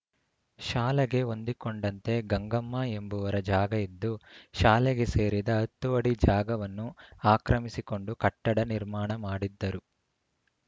ಶಾಲೆಗೆ ಹೊಂದಿಕೊಂಡಂತೆ ಗಂಗಮ್ಮ ಎಂಬುವರ ಜಾಗ ಇದ್ದು ಶಾಲೆಗೆ ಸೇರಿದ ಹತ್ತು ಅಡಿ ಜಾಗವನ್ನು ಅಕ್ರಮಿಸಿಕೊಂಡು ಕಟ್ಟಡ ನಿರ್ಮಾಣ ಮಾಡಿದ್ದರು